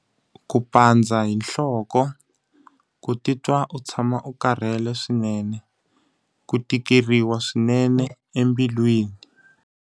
Ku pandza hi nhloko, ku titwa u tshama u karhele swinene, ku tikeriwa swinene embilwini.